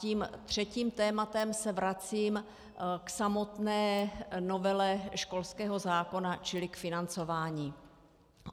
Tím třetím tématem se vracím k samotné novele školského zákona, čili k financování.